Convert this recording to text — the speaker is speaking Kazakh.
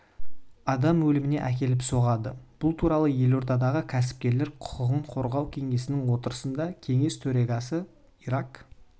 адам өліміне әкеліп соғады бұл туралы елордадағы кәсіпкерлер құқығын қорғау кеңесінің отырысында кеңес төрағасы ирак